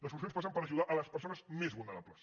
les solucions passen per ajudar les persones més vulnerables